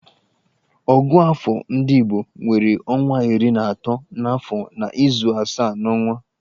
Ògụ́àfọ̀ ndị igbo nwere ọnwa iri na atọ n'afọ na izu asaa n'ọnwa.